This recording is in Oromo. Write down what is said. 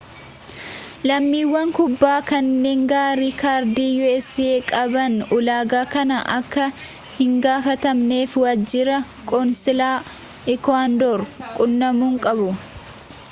lammiiwwan kuubaa kanneen giriin kaardii us qaban ulaagaa kana akka hingaafatamneef waajjira qoonsilaa ikuwaadoor quunnamuu qabu